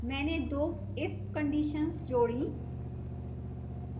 मैंने दो if conditions जोड़ी